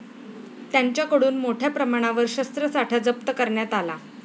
त्यांच्याकडून मोठ्या प्रमाणावर शस्त्रसाठा जप्त करण्यात आला.